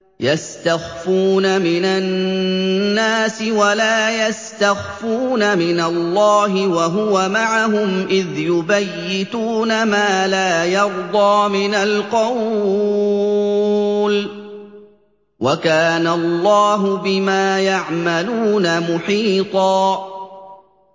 يَسْتَخْفُونَ مِنَ النَّاسِ وَلَا يَسْتَخْفُونَ مِنَ اللَّهِ وَهُوَ مَعَهُمْ إِذْ يُبَيِّتُونَ مَا لَا يَرْضَىٰ مِنَ الْقَوْلِ ۚ وَكَانَ اللَّهُ بِمَا يَعْمَلُونَ مُحِيطًا